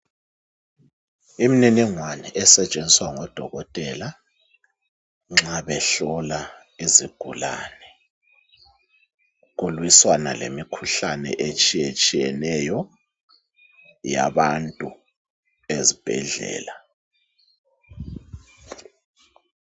Imniningwane esentshenziswa ngodokotela nxa behlola izigulane kuliswana lemikhuhlane itshiyetshiyeneyo yabantu ezibhedlela.